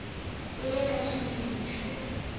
u le ka xiyimo xo